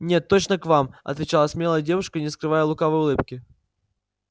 нет точно к вам отвечала смелая девушка не скрывая лукавой улыбки